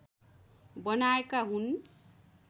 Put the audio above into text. बनाएका हुन्